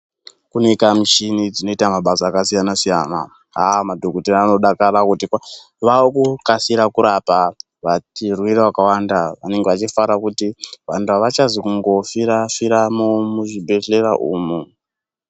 Kuneka mishini dzinoita mabasa akasiyana siyana. Haa madhokodheya anodakara ngokuti paa..vakukasira kurapa vati.. varwere vakawanda vanenge vachifarawo kuti vantu havachazi kungofira.. firamo muzvibhedhlera umu.